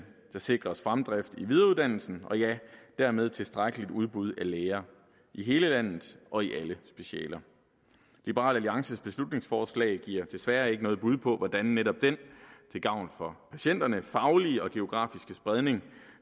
der sikres fremdrift i videreuddannelsen og dermed et tilstrækkeligt udbud af læger i hele landet og i alle specialer liberal alliances beslutningsforslag giver desværre ikke noget bud på hvordan den netop til gavn for patienterne faglige og geografiske spredning